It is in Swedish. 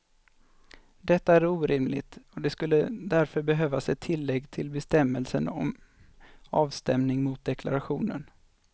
Detta är orimligt och det skulle därför behövas ett tillägg till bestämmelsen om avstämning mot deklarationen.